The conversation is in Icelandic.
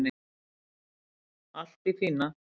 Allt í fína